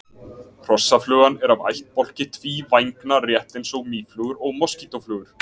hrossaflugan er af ættbálki tvívængna rétt eins og mýflugur og moskítóflugur